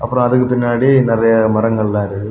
அப்பறம் அதுக்கு பின்னாடி நிறைய மரங்களெல்லாம் இருக்கு.